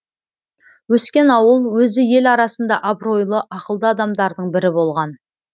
өскен ауыл өзі ел арасында абыройлы ақылды адамдардың бірі болған